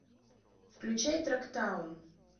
включай трактаун